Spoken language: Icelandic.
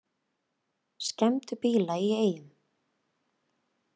Skemmdu bíla í Eyjum